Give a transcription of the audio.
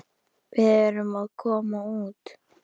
Við erum að koma út.